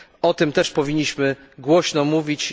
O tym też powinniśmy głośno mówić.